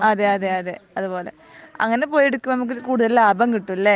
അതെയതെ അതെ അതുപോലെ അങ്ങിനെ പോയി എടുക്കുമ്പോ നമുക്ക് കൂടുതൽ ലാഭം കിട്ടുംലെ